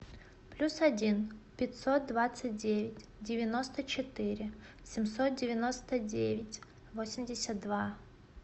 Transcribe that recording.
плюс один пятьсот двадцать девять девяносто четыре семьсот девяносто девять восемьдесят два